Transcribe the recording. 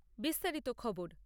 বিস্তারিত খবর